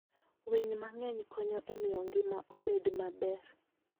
Winy mang'eny konyo e miyo ngima obed maber.